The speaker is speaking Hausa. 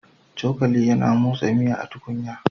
Cokali yana motsa miya a cikin tukunya